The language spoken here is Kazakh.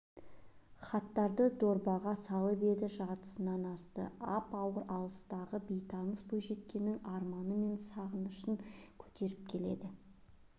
хаттарды дорбаға салып еді жартысынан асты ап-ауыр алыстағы бейтаныс бойжеткеннің арманы мен сағынышын көтеріп келеді